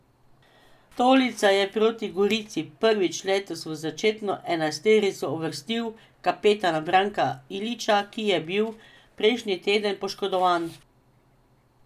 Stolica je proti Gorici prvič letos v začetno enajsterico uvrstil kapetana Branka Ilića, ki je bil prejšnji teden poškodovan.